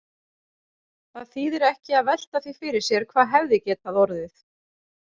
Það þýðir ekki að velta því fyrir sér hvað hefði getað orðið.